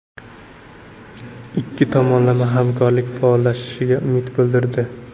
Ikki tomonlama hamkorlik faollashishiga umid bildirdi.